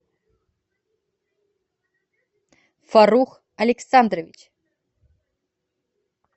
фарух александрович